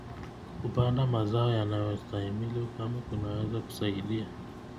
Kupanda mazao yanayostahimili ukame kunaweza kusaidia.